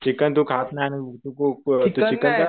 Chicken तु खात नाही. तु खूप चीकन काय